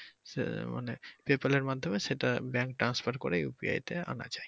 সে মানে PayPal এর মাধ্যমে সেটা bank transfer করে ইয়েতে আনা যায়